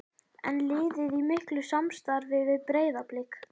Er liðið í miklu samstarfi við Breiðablik?